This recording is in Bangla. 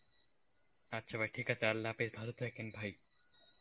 আচ্ছা ভাই ঠিক আছে আল্লা হাফিজ ভালো থাকেন ভাই